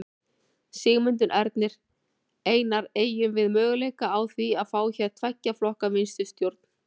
Sigmundur Ernir: Einar, eygjum við möguleika á því að fá hér tveggja flokka vinstristjórn?